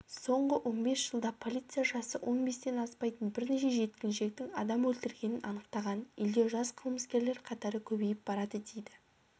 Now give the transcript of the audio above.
соңғы он бес жылда полиция жасы он бестен аспайтын бірнеше жеткіншектің адам өлтіргенін анықтаған елде жас қылмыскерлер қатары көбейіп барады дейді